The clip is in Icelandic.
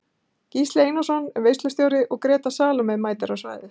Gísli Einarsson er veislustjóri og Gréta Salome mætir á svæðið.